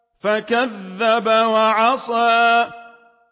فَكَذَّبَ وَعَصَىٰ